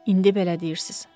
İndi belə deyirsiz.